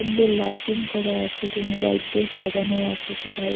সুন্দর লাইটিং করা আছে টুনি বাল্ব দিয়ে সাজানো আছে সবাই --